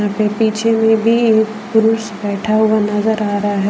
पीछे में भी पुरुष बैठा हुआ नजर आ रहा है।